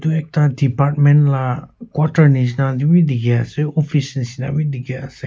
Ekta department la quarter neshna tey beh dekhe ase office neshna beh dekhe ase.